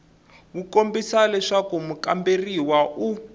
wu kombisa leswaku mukamberiwa u